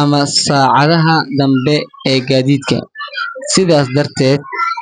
ama saacadaha dambe ee gaadiidka. Sidaas darteed.